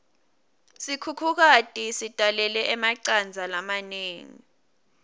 sikhukhukati sitalele emacandza lamanengi